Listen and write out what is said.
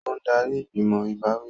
Ó ń darí ìgbìmọ̀ ìbáwí